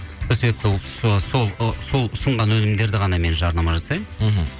сол себепті сол ұсынған өнімдерді ғана мен жарнама жасаймын мхм